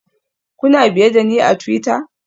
Kuna biye da ni a twitter?